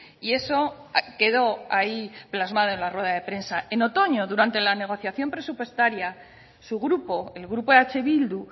y eso quedó ahí plasmado en la rueda de prensa en otoño durante la negociación presupuestaria su grupo el grupo eh bildu